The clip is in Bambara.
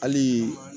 Hali